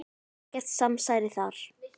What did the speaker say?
Ekkert samsæri þar.